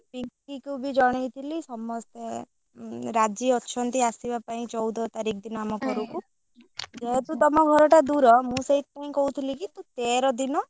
ପିଙ୍କି କୁ ବି ଜଣେଇଥିଲି ସମସ୍ତେ ରାଜି ଅଛନ୍ତି ଆସିବା ପାଇଁ ଚଉଦ ତାରିଖ ଦିନ ଆମ ଘରକୁ ଯେହେତୁ ତମ ଘର ଟା ଦୂର ମୁଁ ସେଥିପାଇଁ କହୁଥିଲି କି ତୁ ତେର ଦିନ ସକାଳୁ ପଳେଇ,